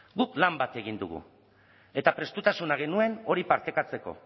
guk plan bat egin dugu eta prestutasuna genuen hori partekatzeko